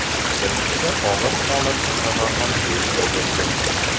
Bir kishi og‘ir holatda kasalxonaga yetkazildi.